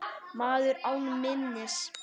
Maður án minnis.